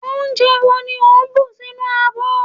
onje wo ni o n bu sinu abo